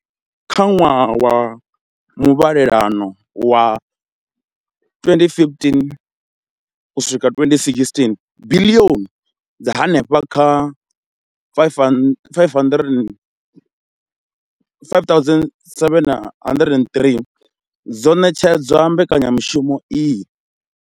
Kha ṅwaha wa muvhalelano wa 2015 uswika 2916, biḽioni dza henefha kha R5 703 dzo ṋetshedzwa mbekanyamushumo iyi.